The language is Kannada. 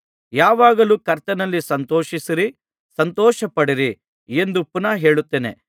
ಯಾವಾಗಲೂ ಕರ್ತನಲ್ಲಿ ಸಂತೋಷಿಸಿರಿ ಸಂತೋಷಪಡಿರಿ ಎಂದು ಪುನಃ ಹೇಳುತ್ತೇನೆ